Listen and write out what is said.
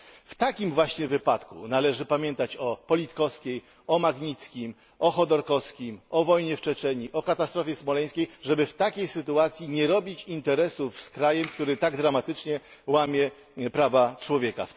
W takim właśnie wypadku należy pamiętać o Politkowskiej, o Magnickim, o Chodorkowskim, o wojnie w Czeczenii, o katastrofie smoleńskiej, żeby w takiej sytuacji nie robić interesów z krajem, który tak dramatycznie łamie prawa człowieka.